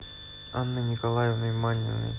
анной николаевной маниной